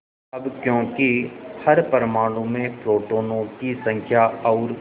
अब क्योंकि हर परमाणु में प्रोटोनों की संख्या और